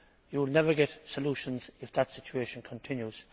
You will never get solutions if that situation continues.